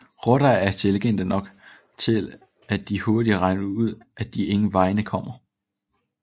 Rotter er intelligente nok til at de hurtigt regner ud at de ingen vegne kommer